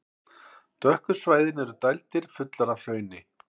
Dökku svæðin eru dældir, fullar af hrauni.